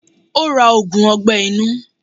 Ó ra ògùn ọgbẹ́ inú.